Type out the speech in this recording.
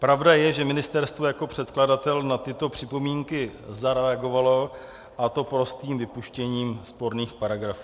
Pravda je, že ministerstvo jako předkladatel na tyto připomínky zareagovalo, a to prostým vypuštěním sporných paragrafů.